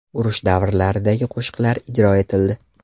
Urush davrlaridagi qo‘shiqlar ijro etildi.